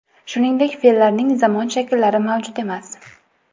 Shuningdek, fe’llarning zamon shakllari mavjud emas.